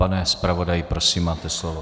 Pane zpravodaji, prosím, máte slovo.